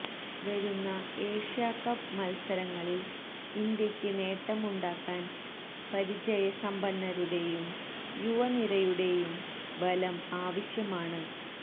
വരുന്ന ഏഷ്യാകപ്പ് മല്സരങ്ങളില് ഇന്ത്യക്ക് നേട്ടം ഉണ്ടാക്കാന് പരിചയ സമ്പന്നതയുടെയും യുവ നിരയുടെയുടെയും ബലം ആവശ്യമാണ്